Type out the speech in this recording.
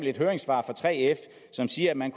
et høringssvar fra 3f som siger at man